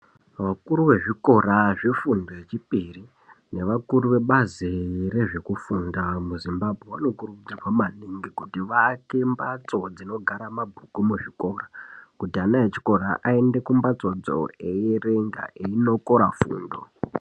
Vakuru vezvikora zvefundo yechipiri nevakuru vebazi rezvekufunda muzimbambwe. Vanokurudzirwa maningi kuti vaake mbatso dzinogara mabhuku muzvikora. Kuti ana echikora aende kumbatsodzo eierenga eiinokora fundo.